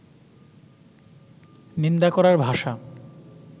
নিন্দা করার ভাষা